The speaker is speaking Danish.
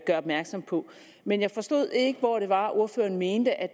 gør opmærksom på men jeg forstod ikke hvor det var at ordføreren mente at